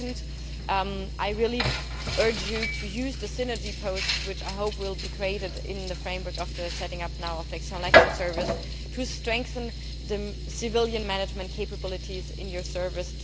Secondly, I really urge you to use the synergy post, which I hope will now be created in the framework of the setting up of the External Action Service, to strengthen the civilian management capabilities in your service.